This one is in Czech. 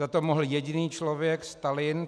Za to mohl jediný člověk - Stalin.